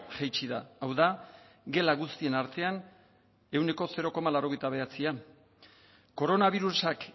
jaitsi da hau da gela guztien artean ehuneko zero koma laurogeita bederatzia koronabirusak